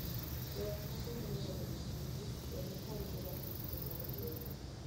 Joot moko nyalo yanyo jotijgi, kendo tamgi ratichgi mar yueyo.